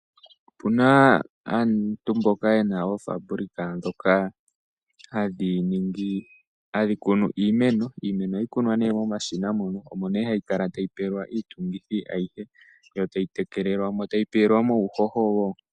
Opuna aantu mboka yena ofambulika dhoka hadh ikunu iimeno , iimeno ohayi kunwa ne momashina mono omo ne hayi kala tayi pelwa iitungithi ayihe yo tayi tekelelwa mo yo tayi pelwa mo uuhoho wo.